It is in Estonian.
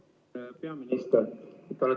Hea peaminister!